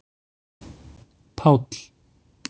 Páll